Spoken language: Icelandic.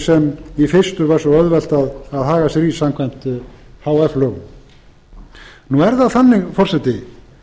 sem í fyrstu var svo auðvelt að haga sér í samkvæmt h f lögum nú er það þannig forseti